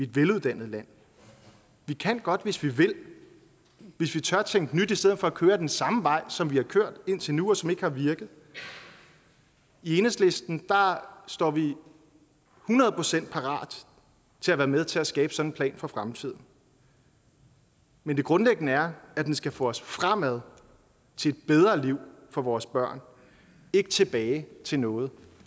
veluddannet land vi kan godt hvis vi vil hvis vi tør tænke nyt i stedet for at køre ad den samme vej som vi har kørt ad indtil nu og som ikke har virket i enhedslisten står vi hundrede procent parat til at være med til at skabe sådan en plan for fremtiden men det grundlæggende er at den skal få os fremad til et bedre liv for vores børn ikke tilbage til noget